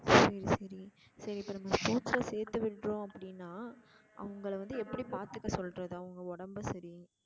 சரி சரி இப்ப நம்ம sports ல சேத்து விட்டோம் அப்படினா அவுங்கள வந்து எப்படி பாத்துக்க சொல்றது அவுங்க உடம்ப சரி